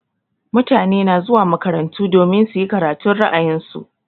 Mutane na zuwa makarantu domin su yi karatun ra'ayin su.